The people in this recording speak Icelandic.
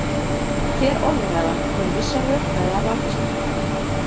Hver orðræða hefur vissa rökfræði að baki sér.